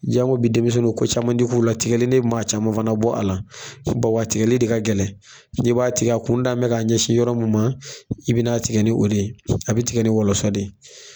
Jango bi denmisɛnninw ko caman ti k'u la ,tigɛli ne maa caman fana bɔ a la. Suba wa tigɛli de ka gɛlɛ ni b'a tigɛ a kun da nin bɛ ka ɲɛsin yɔrɔ min ma i bɛn'a tigɛ ni o de ye, a bɛ tigɛ ni wɔlɔsɔ de ye.